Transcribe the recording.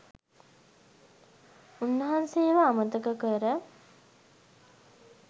උන්වහන්සේව අමතක කර